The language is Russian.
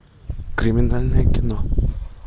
криминальное кино